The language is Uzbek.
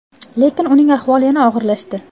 Lekin uning ahvoli yana og‘irlashdi.